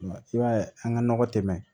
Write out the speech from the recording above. I b'a ye an ka nɔgɔ tɛmɛn